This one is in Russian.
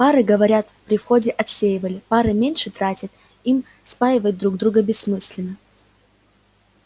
пары говорят при входе отсеивали пары меньше тратят им спаивать друг друга бессмысленно